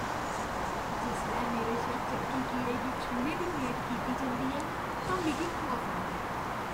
जिसलै मेरे शा चक्की कीड़े गी छूह्ने दी मेद कीती जंदी ऐ तां मिगी खौफ औंदा ऐ।